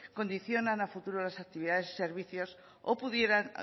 condicionan a futuro las actividades y servicios o pudieran